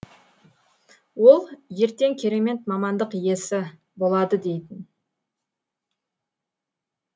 ол ертең керемет мамандық иесі болады дейтін